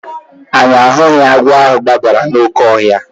Anyị ahụghị agwọ ahụ gbabara n'oke ọhịa